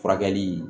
Furakɛli